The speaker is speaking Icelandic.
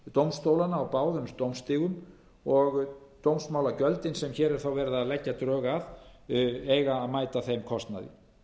dómstólana á báðum dómstigum og dómsmálagjöldin sem hér er verið að leggja drög að eiga að mæta þeim kostnaði